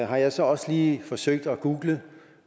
har jeg så også lige forsøgt at google